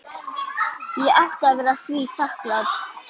Ég átti að vera því þakklát.